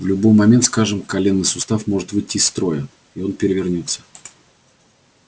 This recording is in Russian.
в любой момент скажем коленный сустав может выйти из строя и он перевернётся